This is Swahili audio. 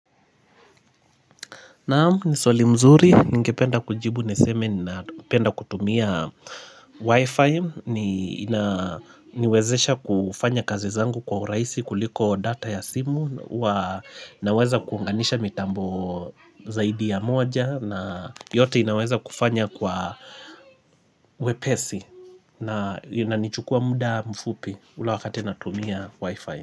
Naamu ni soli mzuri, ningependa kujibu niseme na penda kutumia wifi ni na niwezesha kufanya kazi zangu kwa uraisi kuliko data ya simu Naweza kuunganisha mitambo zaidi ya moja na yote inaweza kufanya kwa wepesi na inaichukua muda mfupi ule wakati natumia wifi.